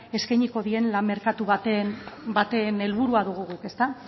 eskainiko dien lan merkatu baten helburua dugu guk ezta